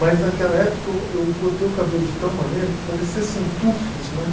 Mas naquela época eu eu cortei o cabelo de tal maneira que parecia assim tufos, né?